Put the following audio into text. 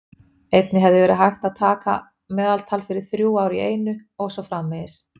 Einnig hefði verið hægt að taka meðaltal fyrir þrjú ár í einu og svo framvegis.